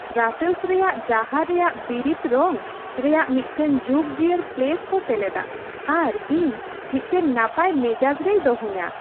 Brussels ᱨᱮᱭᱟᱜ ᱰᱟᱦᱟᱨ ᱨᱮᱭᱟᱜ ᱵᱤᱨᱤᱫ ᱨᱚᱝ ᱨᱮᱭᱟᱜ ᱢᱤᱫᱴᱟᱝ ᱡᱩᱜᱽᱡᱤᱭᱟᱹᱲ ᱥᱯᱞᱮᱹᱥ ᱠᱚ ᱥᱮᱞᱮᱫᱟ ᱟᱨ ᱤᱧ ᱢᱤᱫᱴᱟᱝ ᱱᱟᱯᱟᱭ ᱢᱮᱡᱟᱡᱽ ᱨᱮᱭ ᱫᱚᱦᱚᱧᱟ ᱾